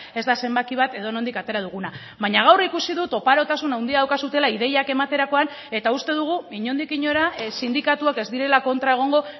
ez da zenbaki bat edonondik atera duguna baina gaur ikusi dut oparotasun handia daukazuela ideiak ematerakoan eta uste dugu inondik inora sindikatuak ez direla kontra egongo